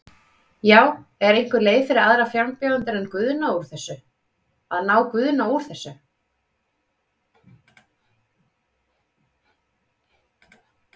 Já, er einhver leið fyrir aðra frambjóðendur að ná Guðna úr þessu?